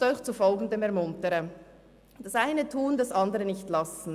Ich möchte Sie dazu ermuntern, das eine zu tun und das andere nicht zu lassen.